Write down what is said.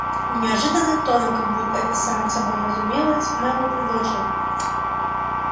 неожиданно тоном как будто это само собой разумелось мэллоу предложил